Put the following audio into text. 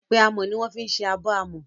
Yépẹ́ amọ́ ni wọ́n fi ń ṣe abọ́ àmọ́